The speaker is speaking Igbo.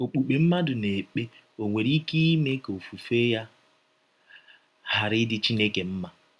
Ọkpụkpe mmadụ na - ekpe ò nwere ike ime ka ofufe ya ghara ịdị Chineke mma?